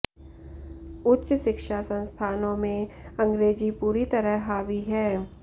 उच्च शिक्षा संस्थानों में अंग्रेजी पूरी तरह हावी है